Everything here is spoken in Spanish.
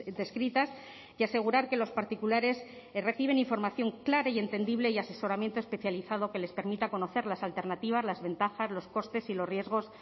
descritas y asegurar que los particulares reciben información clara y entendible y asesoramiento especializado que les permita conocer las alternativas las ventajas los costes y los riesgos